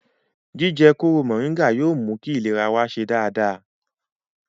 Jíjẹ kóró mọ̀nríngà yóò mú kí ìlera wa ṣe dáadáa